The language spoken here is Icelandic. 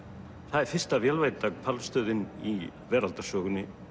það er fyrsta hvalstöðin í veraldarsögunni